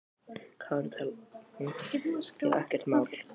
Já, ekkert mál!